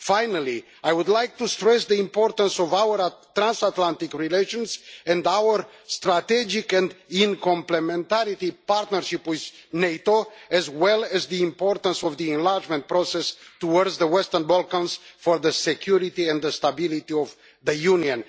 Finally, I would like to stress the importance of our transatlantic relations and our strategic and complementary partnership with NATO, as well as the importance of the enlargement process towards the Western Balkans for the security and stability of the Union.